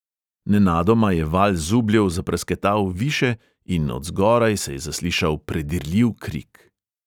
Nenadoma je val zubljev zaprasketal više in od zgoraj se je zaslišal predirljiv krik.